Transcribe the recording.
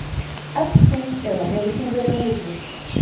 Ert þú eða hefur þú verið á lyfjum?